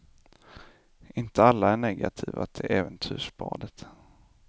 Inte alla är negativa till äventyrsbadet.